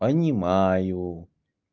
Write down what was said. понимаю